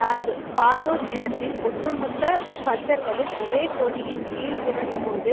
நான்கு கானூர் நிலத்தில் ஒட்டுமொத்த கந்தர்களும் ஒரே கொடியின் கீழ் திரண்டபோது